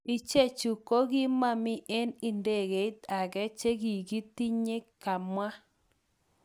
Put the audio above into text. Ichechu kokimomi eng idegeit age chekikitinye," kamwa.